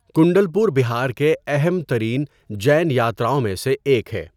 کنڈل پور بہار کے اہم ترین جین یاتراؤں میں سے ایک ہے۔